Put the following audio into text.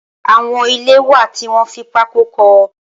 Awọn ilé wá tiwọn fi pàkó kọ